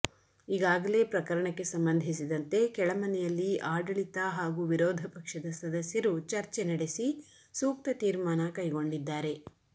ಈಗಾಗಲೆ ಪ್ರಕರಣಕ್ಕೆ ಸಂಬಂಧಿಸಿದಂತೆ ಕೆಳ ಮನೆಯಲ್ಲಿ ಆಡಳಿತ ಹಾಗೂ ವಿರೋಧ ಪಕ್ಷದ ಸದಸ್ಯರು ಚರ್ಚೆ ನಡೆಸಿ ಸೂಕ್ತ ತೀರ್ಮಾನ ಕೈಗೊಂಡಿದ್ದಾರೆ